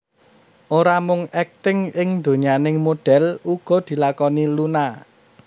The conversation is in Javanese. Ora mung akting ing donyaning modhél uga dilakoni Luna